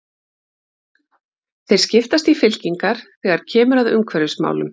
Þeir skiptast í fylkingar þegar kemur að umhverfismálum.